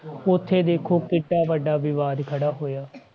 ਉੱਥੇ ਦੇਖੋ ਕਿੱਡਾ ਵੱਡਾ ਵਿਵਾਦ ਖੜਾ ਹੋਇਆ ਠੀਕ ਆ